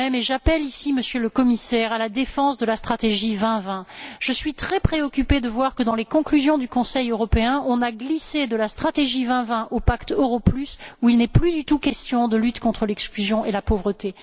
J'appelle ici, Monsieur le Commissaire, à la défense de la stratégie Europe 2020. Je suis très préoccupée de voir que, dans les conclusions du Conseil européen, on a glissé de la stratégie Europe 2020 au pacte pour l'euro plus, où il n'est plus du tout question de lutte contre l'exclusion et la pauvreté.